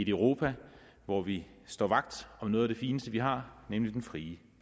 europa hvor vi står vagt om noget af det fineste vi har nemlig den frie